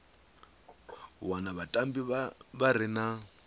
wana vhatambi vha re na